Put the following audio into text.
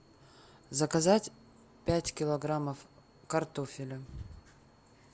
заказать пять килограммов картофеля